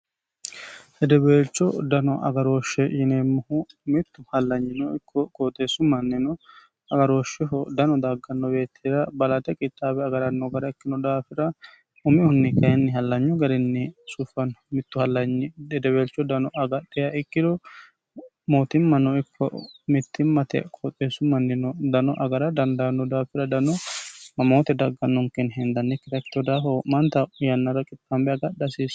Hedeweelcho dano agarooshshe yineemmohu mittu hallanyino ikko qooxeessu mannino agarooshshiho dano dagganno woyeettira balaxe qittaabi agaranno gara ikkino daafira umihunni kayinni hallanyu garinni sufanno mittu hallnyi hedeweelcho dano agadheha ikkiro mootimmanno ikko mittimmate qooxeessu mannino dano agara dandaanno daafira dano mamoote daggannonkenni hindannikkita ikitino daafo wo'mante yannara qixaambe agadha hasiissano.